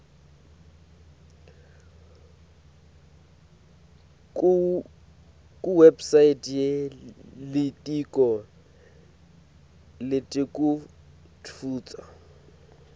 kuwebsite yelitiko letekutfutsa